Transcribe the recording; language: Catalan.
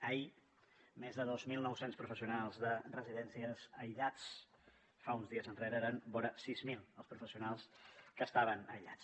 ahir més de dos mil nou cents professionals de residències aïllats fa uns dies enrere eren vora sis mil els professionals que estaven aïllats